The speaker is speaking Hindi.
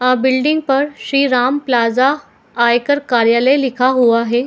आ बिल्डिंग पर श्री राम प्लाजा आयकर कार्यालय लिखा हुआ हैं।